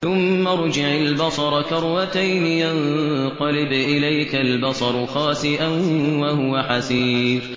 ثُمَّ ارْجِعِ الْبَصَرَ كَرَّتَيْنِ يَنقَلِبْ إِلَيْكَ الْبَصَرُ خَاسِئًا وَهُوَ حَسِيرٌ